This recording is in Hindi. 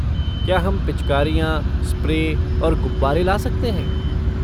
क्या हम पिचकारियाँ, स्प्रे और गुब्बारे ला सकते हैं?